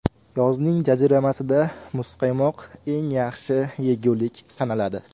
Yozning jaziramasida muzqaymoq eng yaxshi yegulik sanaladi.